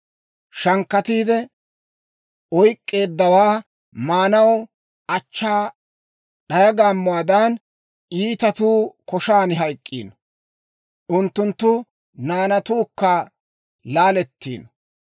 Shankkatiide oyk'k'eeddawaa maanaw achchaa d'aya gaammotuwaadan, iitatuu koshaan hayk'k'iino; unttunttu naanatuukka laalettiino.